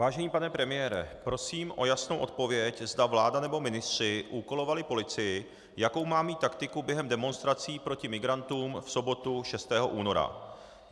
Vážený pane premiére, prosím o jasnou odpověď, zda vláda nebo ministři úkolovali policii, jakou má mít taktiku během demonstrací proti migrantům v sobotu 6. února.